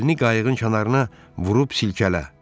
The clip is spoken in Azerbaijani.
Əlini qayıqın kənarına vurub silkələ.